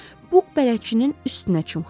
Buk bələdçinin üstünə çımxırdı.